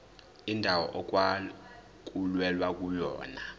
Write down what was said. indawo okwakulwelwa kuyona